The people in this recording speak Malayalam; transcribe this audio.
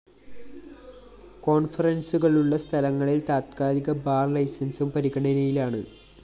കോണ്‍ഫറന്‍സുകളുള്ള സ്ഥലങ്ങളില്‍ താത്ക്കാലിക ബാർ ലൈസന്‍സും പരിഗണനയിലാണ്